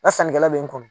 Nka sannikɛla be n kɔnɔ